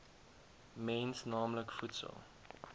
mens naamlik voedsel